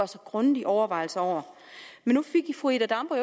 sig grundige overvejelser over nu fik fru ida damborg